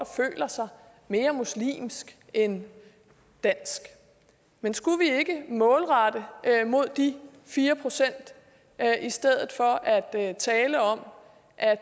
føler sig mere muslimsk end dansk men skulle vi ikke målrette mod de fire procent i stedet for at tale om at